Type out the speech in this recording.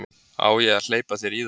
Á ég að hleypa þér í þær?